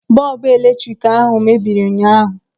Bọọbụ eletrik ahụ mebiri ụnyaahụ.